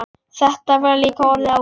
Þetta var líka orðið ágætt.